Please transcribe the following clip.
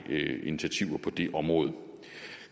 initiativer på det område